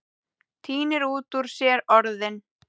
Tínir út úr sér orðin.